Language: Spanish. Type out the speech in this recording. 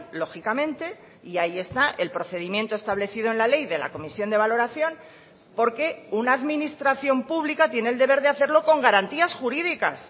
lógicamente y ahí está el procedimiento establecido en la ley de la comisión de valoración porque una administración pública tiene el deber de hacerlo con garantías jurídicas